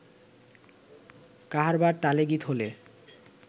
কাহারবা তালে গীত হলে